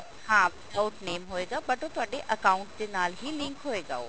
ਹਾਂ without name ਹੋਏਗਾ but ਉਹ ਤੁਹਾਡੇ account ਦੇ ਨਾਲ ਹੀ link ਹੋਇਗਾ ਉਹ